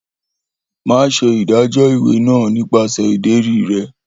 Maṣe ṣe idajọ iwe naa nipasẹ ideri rẹ.